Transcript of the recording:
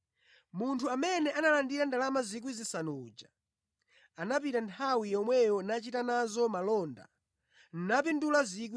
Munthu amene analandira ndalama 5,000 uja, anapita nthawi yomweyo nachita nazo malonda napindula 5,000 zina.